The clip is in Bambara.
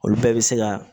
Olu bɛɛ bɛ se ka